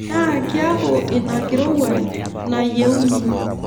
Naa kiaku ina enkirowuaj nayieuni.